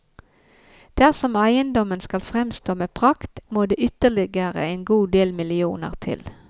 Dersom eiendommen skal fremstå med prakt, må det ytterligere en god del millioner til.